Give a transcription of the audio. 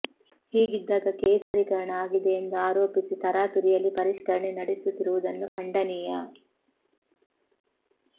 ಹೀಗಿದ್ದಾಗ ಕೇಸರಿಕರಣ ಆಗಿದೆ ಎಂದು ಆರೋಪಿಸಿ ತರಾತುರಿಯಲ್ಲಿ ಪರಿಷ್ಕರಣೆ ನಡೆಸುತ್ತಿರುವುದನ್ನು ಖಂಡನೀಯ